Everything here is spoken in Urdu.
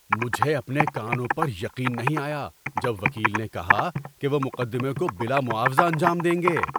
مجھے اپنے کانوں پر یقین نہیں آیا جب وکیل نے کہا کہ وہ مقدمے کو بلا معاوضہ انجام دیں گے۔